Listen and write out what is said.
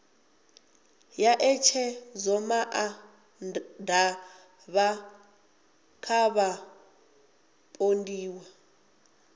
ya ṋetshedzomaa ṋda kha vhapondiwa